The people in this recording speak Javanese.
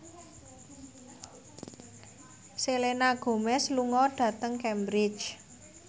Selena Gomez lunga dhateng Cambridge